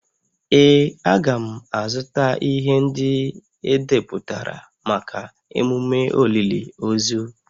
Ee, a ga m azụta ihe ndị edepụtara maka emume olili ozu